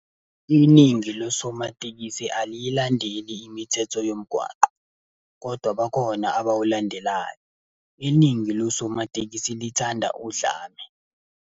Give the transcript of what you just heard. Iningi losomatekisi aliyilandeli imithetho yomgwaqo, kodwa bakhona abawulandelayo. Iningi losomatekisi lithanda udlame.